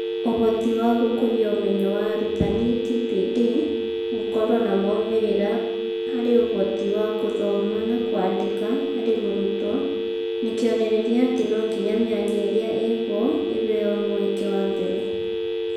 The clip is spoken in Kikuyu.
Ũhoti wa gũkũria ũmenyo wa arutani (TPD) gũkorũo na moimĩrĩra harĩ ũhoti wa gũthoma na kwandĩka harĩ mũrutwo ni kĩonereria atĩ no nginya mĩanya ĩrĩa ĩho ĩheo mweke wa mbere.